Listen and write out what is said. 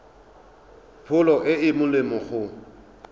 pholo e e molemo go